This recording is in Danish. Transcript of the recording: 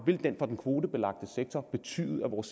for den kvotebelagte sektor betyde at vores